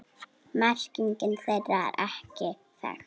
Merking þeirra er ekki þekkt.